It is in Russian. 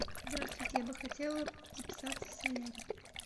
здравствуйте я бы хотела записаться в солярий